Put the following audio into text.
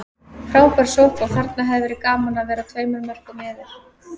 Frábær sókn og þarna hefði verið gaman að vera tveimur mörkum yfir.